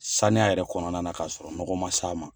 Saniya yɛrɛ kɔnɔna na k'a sɔrɔ nɔgɔ man se a ma.